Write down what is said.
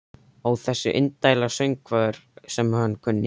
Ó þessir indælu söngvar sem hann kunni.